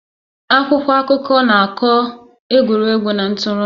Akwụkwọ akụkọ na-akọ egwuregwu na ntụrụndụ